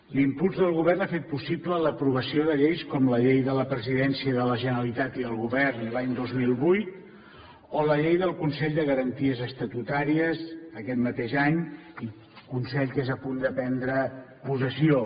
l’impuls del govern ha fet possible l’aprovació de lleis com la llei de la presidència de la generalitat i del govern l’any dos mil vuit o la llei del consell de garanties estatutàries aquest mateix any consell que és a punt de prendre possessió